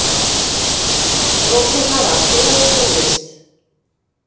Rósinkara, spilaðu tónlist.